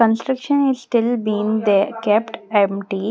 Construction is still being they kept empty.